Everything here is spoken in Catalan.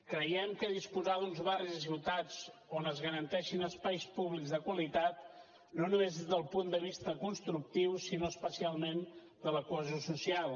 creiem que disposar d’uns barris i ciutats on es garanteixin espais públics de qualitat no només des del punt de vista constructiu sinó especialment de la cohesió social